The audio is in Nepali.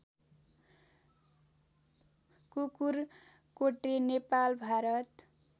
कुकुरकोटे नेपाल भारत